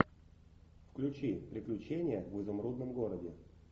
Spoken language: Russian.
включи приключения в изумрудном городе